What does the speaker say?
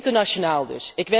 Internationaal dus!